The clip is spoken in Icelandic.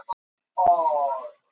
Það hafði reynst óheillaráð.